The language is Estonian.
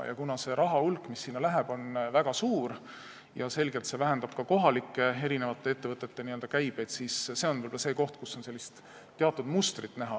Kuna see raha hulk, mis sinna läheb, on väga suur ja see vähendab selgelt kohalike ettevõtete käibeid, siis see on võib-olla see koht, kus on näha teatud mustrit.